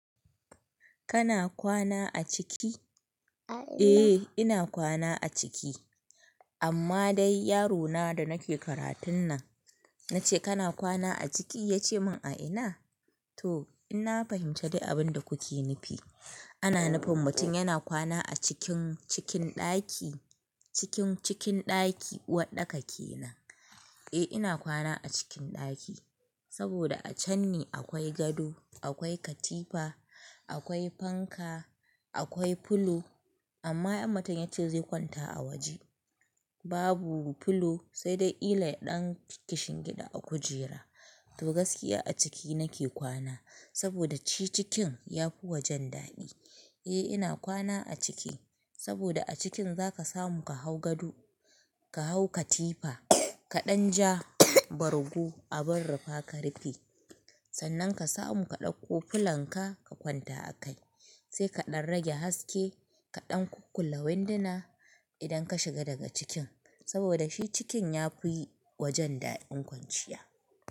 Kana kwana a ciki? Eh ina kwana a ciki amma dai yaro na da nake karatun nan, na ce kana kwana a ciki ya ce min a ina? To in na fahimci dai abin da kuke nufi. Ana nufin mutum yana kwana a cikin cikin ɗaki, cikin cikin ɗaki uwarɗaka kenan. Eh ina kwana a cikin ɗaki saboda a can ne akwai gado, akwai katifa, akwai fanka, akwai filo amma in mutun ya ce zai kwanta a waje. Babu filo sai dai kila ya ɗan kishin gida a kujera. To gaskiya a ciki nake kwana saboda shi cikin yafi wajen daɗi. Eh ina kwana a ciki saboda a cikin zaka samu ka hau gado, ka hau katifa, ka ɗan ja bargo abun rufa ka rufe. Sannan ka samu ka ɗauko filanka ka kwanta a kai. Sai ka ɗan rage haske, ka ɗan kukkule winduna idan ka shiga daga cikin saboda shi cikin yafi wajen daɗin kwanciya.